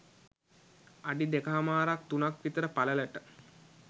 අඩි දෙකහමාරක් තුනක් විතර පළලට